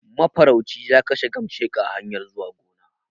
Mafarauci ya kashe gamasheka a hanyar zuwa gona